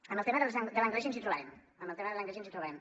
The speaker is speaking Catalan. en el tema de l’anglès ens hi trobarem en el tema de l’anglès ens hi trobarem